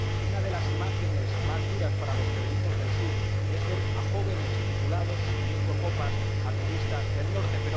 Una de las imágenes más duras para los que venimos del sur es ver a jóvenes titulados sirviendo copas a turistas del norte.